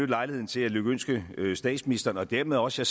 lejligheden til at lykønske statsministeren og dermed også